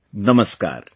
Namaskar